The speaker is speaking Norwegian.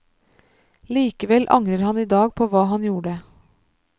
Likevel angrer han i dag på hva han gjorde.